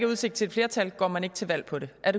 udsigt til et flertal går man ikke til valg på det er